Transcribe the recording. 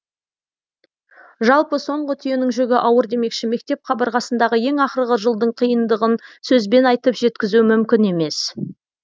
жалпы соңғы түйенің жүгі ауыр демекші мектеп қабырғасындағы ең ақырғы жылдың қиыңдығын сөзбен айтып жеткізу мүмкін емес